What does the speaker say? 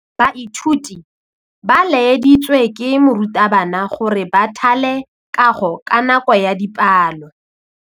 Baithuti ba laeditswe ke morutabana gore ba thale kagô ka nako ya dipalô.